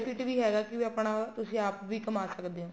ਵੀ ਹੈਗਾ ਕੀ ਆਪਣਾ ਤੁਸੀਂ ਆਪ ਵੀ ਕਮਾ ਸਕਦੇ ਹੋ